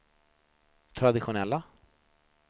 traditionella